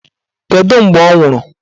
Kedụ mgbe ọ nwụrụ?